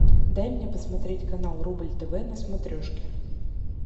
дай мне посмотреть канал рубль тв на смотрешке